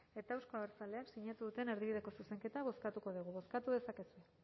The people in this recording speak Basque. eta euzko abertzaleek sinatu duten erdibideko zuzenketa bozkatuko dugu bozkatu dezakegu